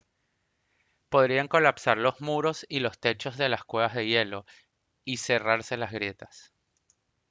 podrían colapsar los muros y los techos de las cuevas de hielo y cerrarse las grietas